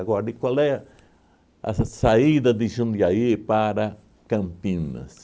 qual é a saída de Jundiaí para Campinas?